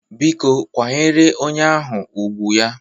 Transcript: Biko kwanyere onye ahụ ùgwù ya!